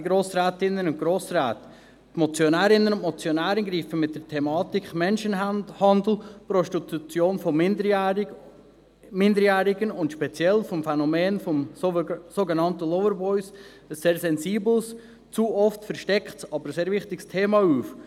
Die Motionärinnen und Motionäre greifen mit der Thematik Menschenhandel, Prostitution von Minderjährigen und speziell mit dem Phänomen der sogenannten Loverboys ein sehr sensibles, zu oft verstecktes, aber sehr wichtiges Thema auf.